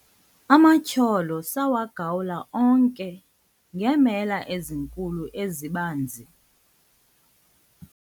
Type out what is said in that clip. amatyholo sawagawula onke ngeemela ezinkulu ezibanzi